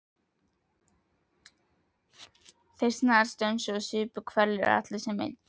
Þeir snarstönsuðu og supu hveljur, allir sem einn.